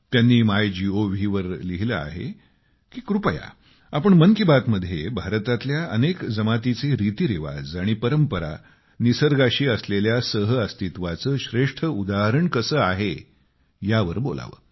त्यांनी मायगोव वर लिहिलं आहे की कृपया आपण मन की बात मध्ये भारतातल्या अनेक जमातीचे रितीरिवाज आणि परंपरा निसर्गाशी असलेल्या सहअस्तित्वाचं सर्वश्रेष्ठ उदाहरण आहे यावर बोलावं